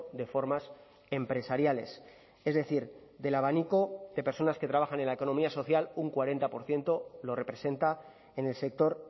de formas empresariales es decir del abanico de personas que trabajan en la economía social un cuarenta por ciento lo representa en el sector